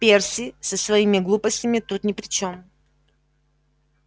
перси со своими глупостями тут ни при чем